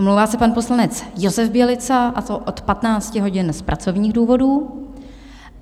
Omlouvá se pan poslanec Josef Bělica, a to od 15 hodin z pracovních důvodů.